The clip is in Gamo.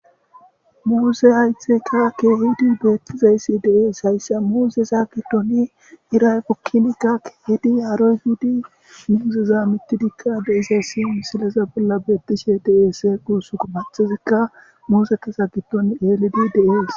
muuse haytheka keehidi beettizaysi deees haysse muuze saagitoni iray pokkinikka keehedi haarohudi muuseza mittidikka beisa siyon sileza bolla beettishe dees quusuko maxizikka muuseka saagiton elidi dees.